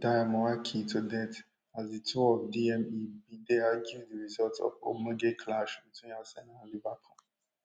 benjamin ndyamuhaki to death as di two of dme bin dey argue di results of ogbonge clash between arsenal and liverpool